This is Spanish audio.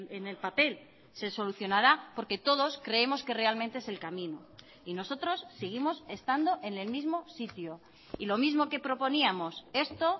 en el papel se solucionará porque todos creemos que realmente es el camino y nosotros seguimos estando en el mismo sitio y lo mismo que proponíamos esto